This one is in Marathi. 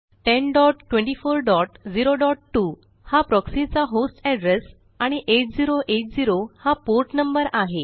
102402 हा प्रॉक्सी चा होस्ट एड्रेस आणि 8080 हा पोर्ट नंबर आहे